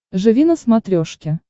живи на смотрешке